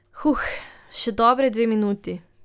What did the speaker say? Huh, še dobri dve minuti ...